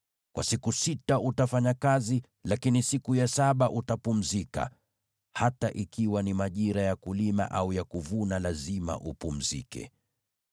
“Kwa siku sita utafanya kazi, lakini siku ya saba utapumzika, hata ikiwa ni majira ya kulima au ya kuvuna lazima upumzike.